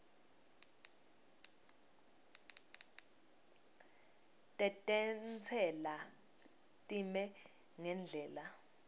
tetentsela time ngendlela